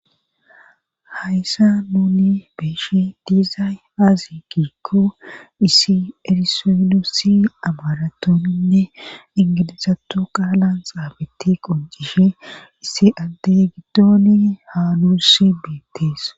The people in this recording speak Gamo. hayssa nuni beeshe diizay aazi kiikko issi erisonosi amaratoninne ingilizato qaalan xaabetti qoncishe issi addey gitoni haaluss biettees